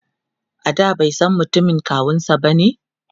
a da baisan mutumin kawunsa bane?